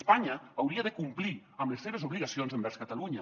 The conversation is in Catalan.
espanya hauria de complir amb les seves obligacions envers catalunya